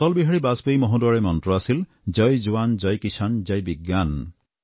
অটল বিহাৰী বাজপেয়ীৰ মন্ত্ৰ আছিল জয় জোৱান জয় কিষাণ জয় বিজ্ঞান